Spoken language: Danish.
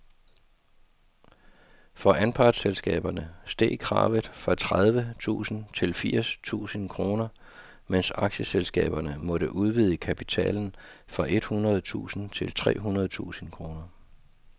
For anpartsselskaberne steg kravet fra tredive tusind til firs tusind kroner, mens aktieselskaberne måtte udvide kapitalen fra et hundrede tusind til tre hundrede tusind kroner.